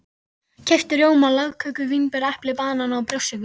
Keypti rjóma, lagköku, vínber, epli, banana og brjóstsykur.